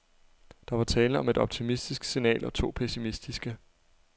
Der var tale om et optimistisk signal og to pessimistiske.